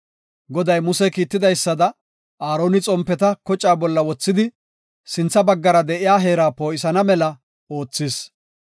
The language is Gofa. Goday Muse kiitidaysada, Aaroni xompeta kocaa bolla wothidi sintha baggara de7iya heera poo7isana mela oothis.